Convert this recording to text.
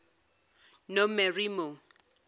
nomeremo